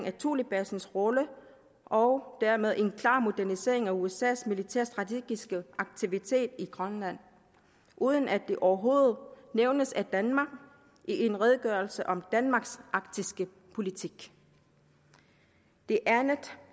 af thulebasens rolle og dermed en klar modernisering af usas militærstrategiske aktivitet i grønland uden at det overhovedet nævnes af danmark i en redegørelse om danmarks arktiske politik det andet